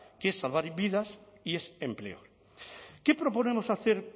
que es salvar vidas y es empleo qué proponemos hacer